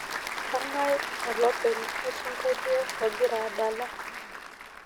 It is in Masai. kangae olopeny osingolio ogira adala